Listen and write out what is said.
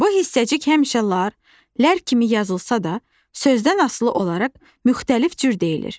Bu hissəcik həmişə -lar, -lər kimi yazılsa da, sözdən asılı olaraq müxtəlif cür deyilir.